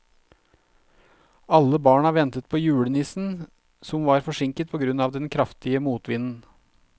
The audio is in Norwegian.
Alle barna ventet på julenissen, som var forsinket på grunn av den kraftige motvinden.